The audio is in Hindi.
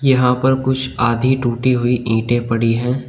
यहां पर कुछ आधी टूटी हुई ईंटें पड़ी हैं।